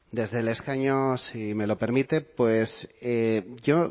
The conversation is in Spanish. desde el escaño si me lo permite pues yo